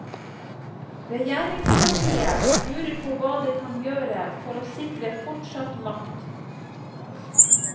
Regjeringspartiet lurer på hva det kan gjøre for å sikre fortsatt makt.